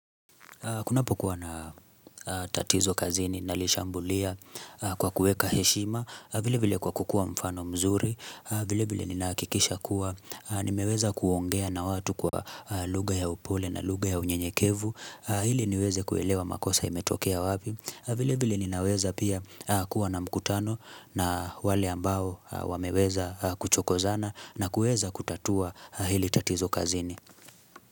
Kunapo kuwa na tatizo kazini na lishambulia kwa kuweka heshima, vile vile kwa kukua mfano mzuri, vile vile nina hakikisha kuwa, nimeweza kuongea na watu kwa lugha ya upole na lugha ya unyenyekevu, hili niweze kuelewa makosa imetokea wapi, vile vile ninaweza pia kuwa na mkutano na wale ambao wameweza kuchokozana na kueza kutatua hili tatizo kazini.